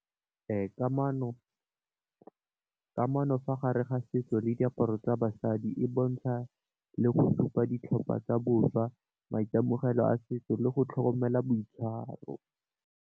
Kamano, kamano fa gare ga setso le diaparo tsa basadi e bontsha, le go supa ditlhopha tsa boswa maitemogelo a setso le go tlhokomela boitshwaro.